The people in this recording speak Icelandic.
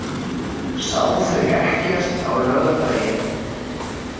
Sá þau ekkert á laugardaginn.